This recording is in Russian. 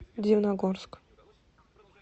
дивногорск